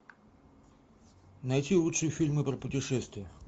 найти лучшие фильмы про путешествия